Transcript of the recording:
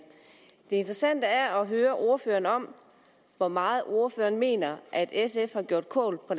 det interessante er at høre ordføreren om hvor meget ordføreren mener sf har gjort kål på